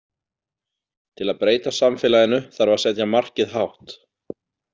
Til að breyta samfélaginu þarf að setja markið hátt.